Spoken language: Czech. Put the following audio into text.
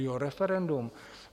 Jo, referendum.